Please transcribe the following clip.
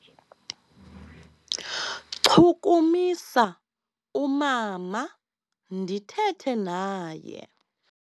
Chukumisa umama ndithethe naye.